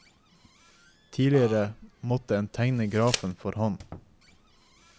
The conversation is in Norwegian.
Tidligere måtte en tegne grafen for hånd.